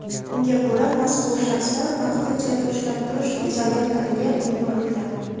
Unga ko‘ra, mazkur shaxslar vaqtinchalik ushlab turish izolyatoriga yuborilgan.